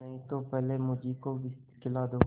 नहीं तो पहले मुझी को विष खिला दो